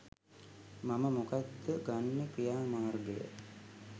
මම මොකක්ද ගන්න ක්‍රියාමාර්ගය?